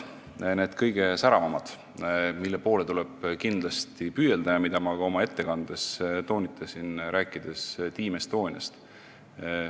Kõige säravamate medalite poole tuleb kindlasti püüelda ja seda ma ka oma ettekandes toonitasin, rääkides Team Estoniast.